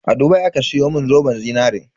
A Dubai aka siyo mun zoben zinarin.